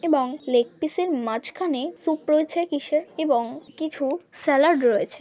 এবং leg piece -এর মাঝখানে সুপ রয়েছে কিসের এবং কিছু স্যালাড রয়েছে।